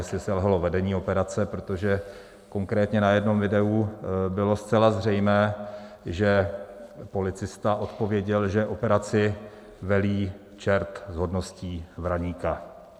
Jestli selhalo vedení operace, protože konkrétně na jednom videu bylo zcela zřejmé, že policista odpověděl, že operaci velí čert s hodností vraníka.